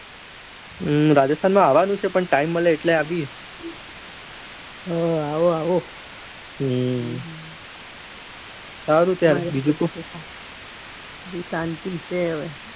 હમ રાજસ્થાનમાં આવાનું છે પણ time મળે એટલે આવીયે. હા આવો આવો હમ સારું ચાલ બીજું કો બસ શાંતિ છે હવે.